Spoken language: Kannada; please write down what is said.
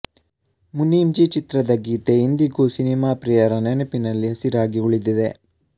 ಮುನೀಮ್ ಜಿ ಚಿತ್ರದ ಗೀತೆ ಇಂದಿಗೂ ಸಿನೆಮಾ ಪ್ರಿಯರ ನೆನಪಿನಲ್ಲಿ ಹಸಿರಾಗಿ ಉಳಿದಿದೆ